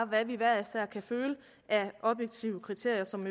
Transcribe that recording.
hvad vi hver især kan føle er objektive kriterier som